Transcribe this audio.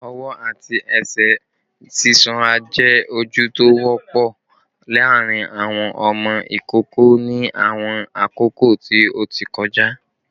Ọwọ ati ẹsẹ sisonra jẹ oju ti o wọpọ laarin awọn ọmọ ikoko ni awọn akoko ti o ti kọja